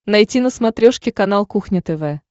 найти на смотрешке канал кухня тв